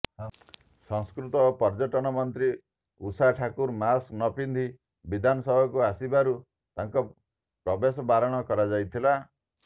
ସଂସ୍କୃତି ଓ ପର୍ଯ୍ୟଟନ ମନ୍ତ୍ରୀ ଉଷା ଠାକୁର ମାସ୍କ ନ ପିନ୍ଧି ବିଧାନସଭାକୁ ଆସିବାରୁ ତାଙ୍କ ପ୍ରବେଶ ବାରଣ କରାଯାଇଥିଲା